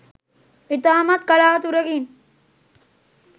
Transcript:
ඉතාමක් කලාකුරකින්.